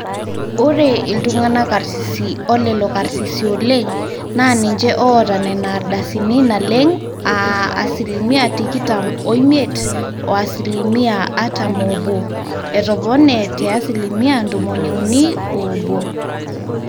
ore iltung'anak karsisi olelo karsisi oleng naa ninje oota nena ardasini naleng aa asilimia tikitam oimiet o asilimia artam oobo etopone te asilimia tomoniuni oobo